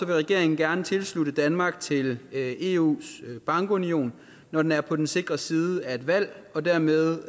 regeringen gerne tilslutte danmark til eus bankunion når den er på den sikre side af et valg og dermed